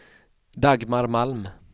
Dagmar Malm